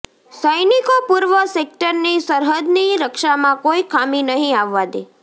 સૈનિકો પૂર્વ સેક્ટરની સરહદની રક્ષામાં કોઇ ખામી નહીં આવવા દે